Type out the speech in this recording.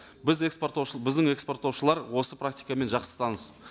біз экспорттаушы біздің экспорттаушылар осы практикамен жақсы таныс